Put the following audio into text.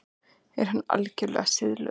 Er hann algerlega siðlaus?